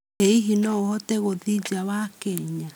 Ĩ hĩhĩ no ahote guthĩĩ nja wa Kenya?